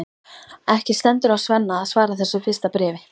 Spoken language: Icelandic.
Ekki stendur á Svenna að svara þessu fyrsta bréfi.